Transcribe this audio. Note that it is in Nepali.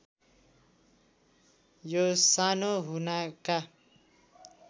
यो सानो हुनाका